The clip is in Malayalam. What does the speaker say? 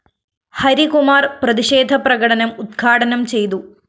ഹരികുമാര്‍ പ്രതിഷേധ പ്രകടനം ഉദ്ഘാടനം ചെയ്തു